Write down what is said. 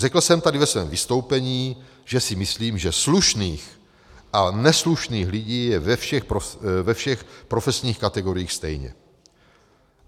Řekl jsem tady ve svém vystoupení, že si myslím, že slušných a neslušných lidí je ve všech profesních kategoriích stejně.